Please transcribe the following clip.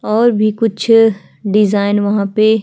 और भी कुछ डिजाइन वहाँ पे --